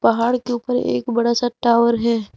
पहाड़ के ऊपर एक बड़ा सा टावर है।